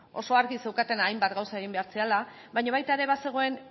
oso argi zeukatenak hainbat gauza egin behar zirela baina baita ere bazegoen